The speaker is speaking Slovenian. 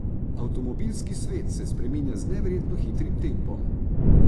Avtomobilski svet se spreminja z neverjetno hitrim tempom.